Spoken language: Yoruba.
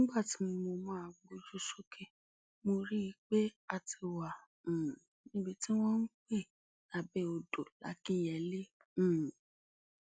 nígbà tí mo máa gbójú sókè mo rí i pé a ti wà um níbi tí wọn ń pè lébéodò làkínyẹlé um